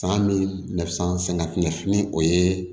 San min na sisan sɛŋɛ fini o ye